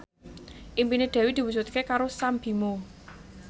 impine Dewi diwujudke karo Sam Bimbo